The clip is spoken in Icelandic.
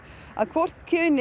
að hvort kyn